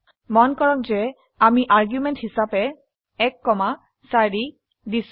মন কৰক যে আমি আৰ্গুমেন্ট হিসাবে 1 4 দিছো